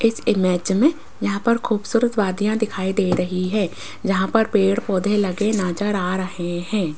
इस इमेज में यहां पर खूबसूरत वादियां दिखाई दे रही है जहां पर पेड़-पौधे लगे नजर आ रहे हैं।